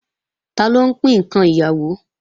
Taló ń pín ǹkan ìyàwó